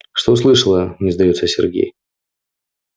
что слышала не сдаётся сергей